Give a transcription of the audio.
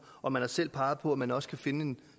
og man har selv peget på at man også kan finde